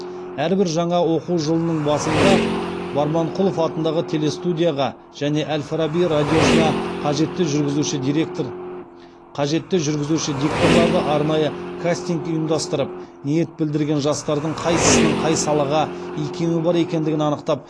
әрбір жаңа оқу жылының басында барманқұлов атындағы телестудияға және әл фараби радиосына қажетті жүргізуші дикторларды арнайы кастинг ұйымдастырып ниет білдірген жастардың қайсысының қай салаға икемі бар екендігін анықтап